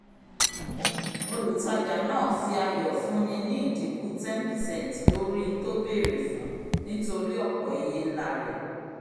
olutaja naa fi ayọ fúnni ní idínkù 10 percent lori nt'o bere fún nítorí ọpọ iye nlá rẹ